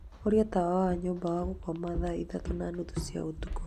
horia tawa wa nyũmba ya gũkoma thaa ithatũ na nuthu cia ũtukũ